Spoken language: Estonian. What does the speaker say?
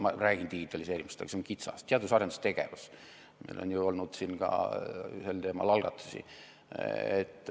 Ma räägin digitaliseerimisest, aga see on liiga kitsas, räägime teadus- ja arendustegevusest, meil on olnud siin sel teemal algatusi.